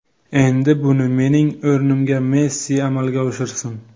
Endi buni mening o‘rnimga Messi amalga oshirsin.